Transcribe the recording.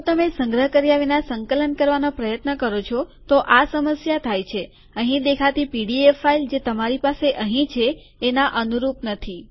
જો તમે સંગ્રહ કર્યા વિના સંકલન કરવાનો પ્રયત્ન કરો છો તો આ સમસ્યા થાય છે અહીં દેખાતી પીડીએફ ફાઈલ જે તમારી પાસે અહીં છે એના અનુરૂપ નથી